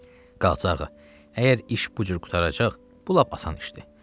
Qazağa, əgər iş bu cür qurtaracaq, bu lap asan işdir.